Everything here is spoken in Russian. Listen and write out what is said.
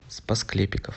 спас клепиков